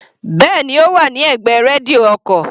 Bẹ́ẹ̀ni, Ó wà ní ẹ̀gbẹ́ rédíò ọkò.